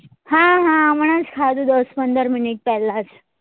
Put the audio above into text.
હા હા હમણાં જ ખાધું દસ પંદર minute પહેલા જ